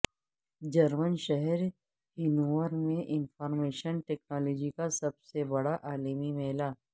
German شہر Hanover میں information technology کا سب سے بڑا عالمی میلہ